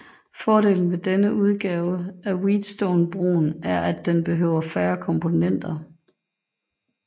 Fordelen ved denne udgave af Wheatstonebroen er at den behøver færre komponenter